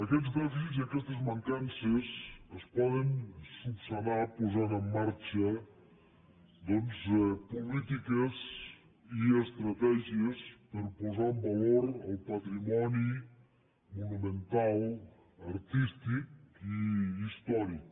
aquests dèficits i aquestes mancances es poden resoldre posant en marxa doncs polítiques i estratègies per a posar en valor el patrimoni monumental artístic i històric